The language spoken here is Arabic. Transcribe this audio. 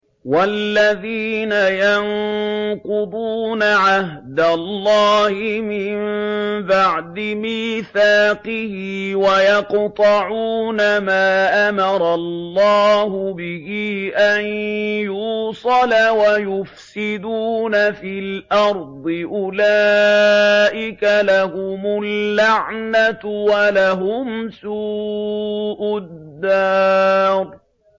وَالَّذِينَ يَنقُضُونَ عَهْدَ اللَّهِ مِن بَعْدِ مِيثَاقِهِ وَيَقْطَعُونَ مَا أَمَرَ اللَّهُ بِهِ أَن يُوصَلَ وَيُفْسِدُونَ فِي الْأَرْضِ ۙ أُولَٰئِكَ لَهُمُ اللَّعْنَةُ وَلَهُمْ سُوءُ الدَّارِ